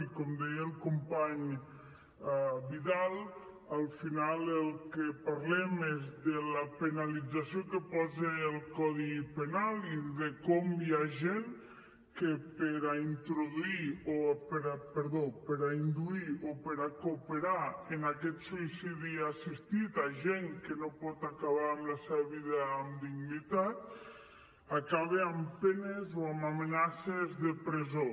i com deia el company vidal al final del que parlem és de la penalització que hi posa el codi penal i de com hi ha gent que per induir o per cooperar en aquest suïcidi assistit amb gent que no pot acabar amb la seva vida amb dignitat acaba amb penes o amb amenaces de presó